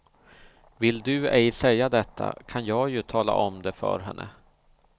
Vill du ej säga detta kan jag ju tala om det för henne.